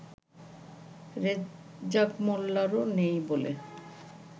রেজ্জাক মোল্লারও নেই বলে